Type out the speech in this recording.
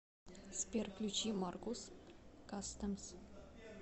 сбер включи маркус кастэмс